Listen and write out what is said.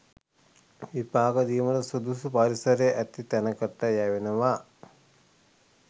විපාක දීමට සුදුසු පරිසරය ඇති තැනකට යැවෙනවා